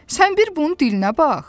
Sən bir bunun dilinə bax.